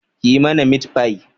Kiyi mana mitfai